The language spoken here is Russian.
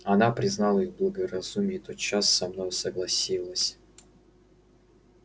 она признала их благоразумие и тотчас со мною согласилась